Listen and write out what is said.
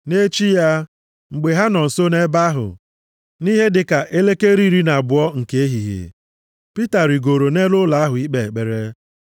Nʼechi ya, mgbe ha nọ nso nʼebe ahụ, nʼihe dịka elekere iri na abụọ nke ehihie, Pita rigooro nʼelu ụlọ ahụ ikpe ekpere.